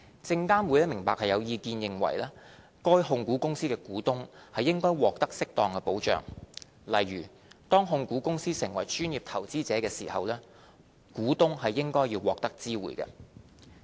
證監會明白有意見認為，該控股公司的股東應獲得適當保障，例如當控股公司成為專業投資者時，股東是應該要獲得知會的。